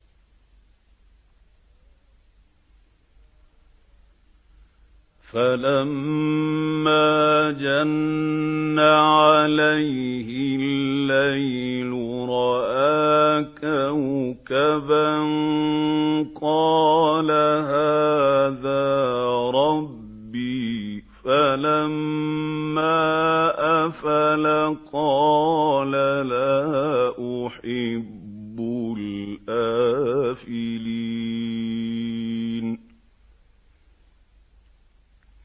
فَلَمَّا جَنَّ عَلَيْهِ اللَّيْلُ رَأَىٰ كَوْكَبًا ۖ قَالَ هَٰذَا رَبِّي ۖ فَلَمَّا أَفَلَ قَالَ لَا أُحِبُّ الْآفِلِينَ